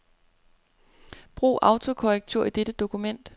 Brug autokorrektur i dette dokument.